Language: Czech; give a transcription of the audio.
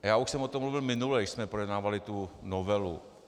Já už jsem o tom mluvil minule, když jsme projednávali tu novelu.